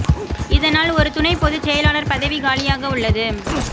இதனால் ஒரு துணை பொதுச் செயலாளர் பதவி காலியாக உள்ளது